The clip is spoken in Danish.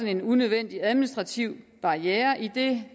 en unødvendig administrativ barriere idet